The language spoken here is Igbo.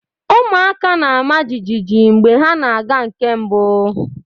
Ụmụaka na-ama jijiji mgbe ha na-aga nke mbụ.